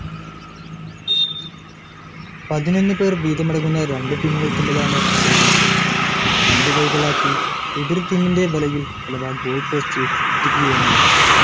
പതിനൊന്നു പേർ വീതമടങ്ങുന്ന രണ്ടു ടീമുകൾ തമ്മിലാണ്‌ football മത്സരം. പന്ത് കൈക്കലാക്കി എതിർ ടീമിന്റെ വലയിൽ അഥവാ ഗോൾ പോസ്റ്റ്‌ എത്തിക്കുകയാണു ലക്ഷ്യം